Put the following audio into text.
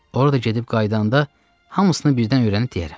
Orada gedib qayıdanda hamısını birdən öyrənib deyərəm.